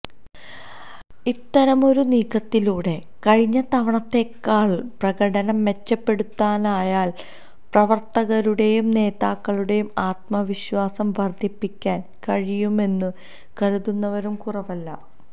ഇത്തരമൊരു നീക്കത്തിലൂടെ കഴിഞ്ഞ തവണത്തേതിനേക്കാള് പ്രകടനം മെച്ചപ്പെടുത്താനായാല് പ്രവര്ത്തകരുടെയും നേതാക്കളുടെയും ആത്മവിശ്വാസം വര്ധിപ്പിക്കാന് കഴിയുമെന്നു കരുതുന്നവരും കുറവല്ല